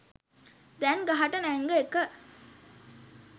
දැන් ගහට නැංග එක